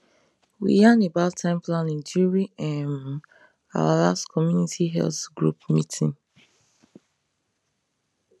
we yan about time planning during um our last community health group meeting